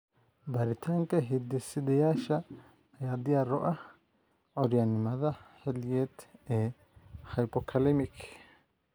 Baaritaanka hidde-sideyaasha ayaa diyaar u ah curyaannimada xilliyeed ee hypokalemic.